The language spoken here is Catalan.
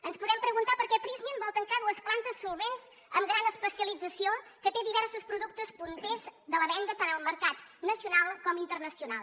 ens podem preguntar per què prysmian vol tancar dues plantes solvents amb gran especialització que té diversos productes punters a la venda tant al mercat nacional com internacional